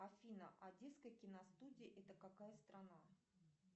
афина одесская киностудия это какая страна